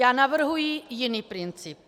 Já navrhuji jiný princip.